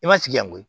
I ma sigi yan koyi